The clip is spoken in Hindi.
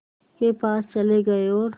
के पास चले गए और